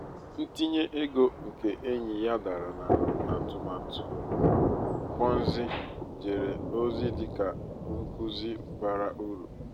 ntinye ego nke enyi ya dara na atụmatụ ponzi jere ozi dị ka nkuzi bara uru.